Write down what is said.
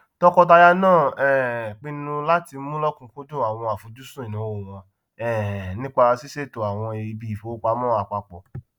tọkọtaya náà um pinnu láti mú lọkùnkúndùn àwọn àfojúsùn ìnáwó wọn um nípa ṣísètò àwọn ibiìfowopamọ apapọ